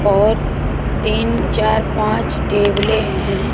और तीन चार पांच टेबले है।